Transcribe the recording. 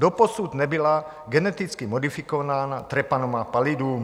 Doposud nebyla geneticky modifikována Treponema pallidum.